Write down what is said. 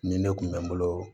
Nin ne kun bɛ n bolo